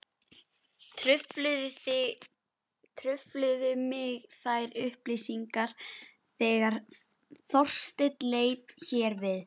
Trufluðu mig þær upplýsingar þegar Þorsteinn leit hér við.